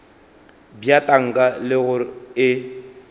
bja tanka le gore e